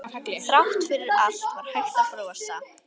Þrátt fyrir allt var hægt að brosa.